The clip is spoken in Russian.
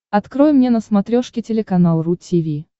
открой мне на смотрешке телеканал ру ти ви